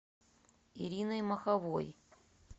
ириной маховой